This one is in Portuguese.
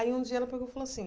Aí um dia ela pegou falou assim,